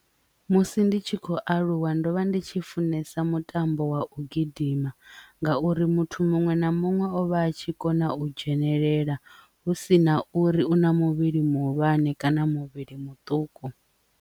Musi ndi tshi khou aluwa ndovha ndi tshi funesa mutambo wa u gidima ngauri muthu muṅwe na muṅwe ovha a tshi kona u dzhenelela hu sina uri una muvhili muhulwane kana muvhili muṱuku.